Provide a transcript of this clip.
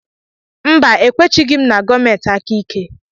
Mba, e kwechighi m na gọọmenti aka ike.